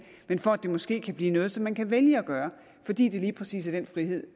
men for at det måske kan blive noget som man kan vælge at gøre fordi det lige præcis er den frihed